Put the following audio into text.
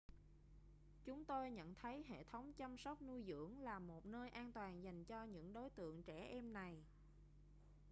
chúng tôi nhận thấy hệ thống chăm sóc nuôi dưỡng là một nơi an toàn dành cho những đối tượng trẻ em này